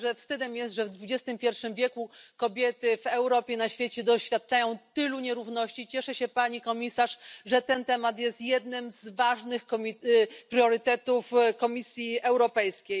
Myślę, że wstydem jest, że w XXI wieku kobiety w Europie i na świecie doświadczają tylu nierówności. Cieszę się, Pani Komisarz, że ten temat jest jednym z ważnych priorytetów Komisji Europejskiej.